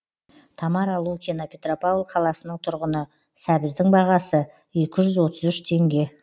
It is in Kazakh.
тамара лукина петропавл қаласының тұрғыны сәбіздің бағасы екі жүз отыз үш теңге